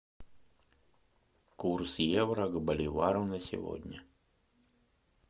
курс евро к боливару на сегодня